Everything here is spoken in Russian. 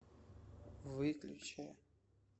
выключи